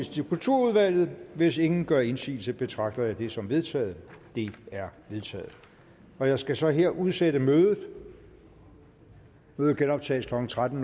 til kulturudvalget hvis ingen gør indsigelse betragter jeg det som vedtaget det er vedtaget jeg skal så her udsætte mødet mødet genoptages klokken tretten